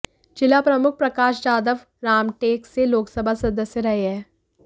जिला प्रमुख प्रकाश जाधव रामटेक से लोकसभा सदस्य रहे हैं